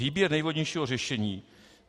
Výběr nejvhodnějšího řešení.